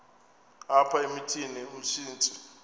apha emithini umsintsi